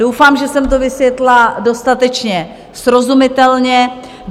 Doufám, že jsem to vysvětlila dostatečně srozumitelně.